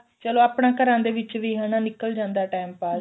ਚਲੋ ਆਪਣਾ ਘਰਾਂ ਦੇ ਵਿੱਚ ਵੀ ਹਨਾ ਨਿਕਲ ਜਾਂਦਾ time ਪਾਸ